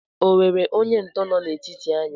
O nwere onye ntọ nọ n'etiti anyị?